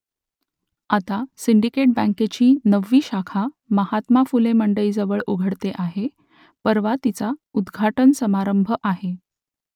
आता सिंडिकेट बँकेची नववी शाखा महात्मा फुले मंडईजवळ उघडते आहे परवा तिचा उद्घाटन समारंभ आहे